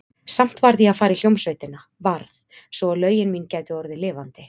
Samt varð ég að fara í hljómsveitina, varð, svo að lögin mín gætu orðið lifandi.